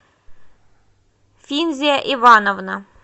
финзя ивановна